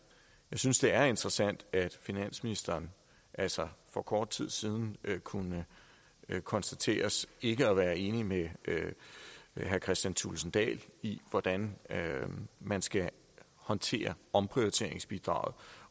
synes det er interessant at finansministeren altså for kort tid siden kunne konstateres ikke at være enig med herre kristian thulesen dahl i hvordan man skal håndtere omprioriteringsbidraget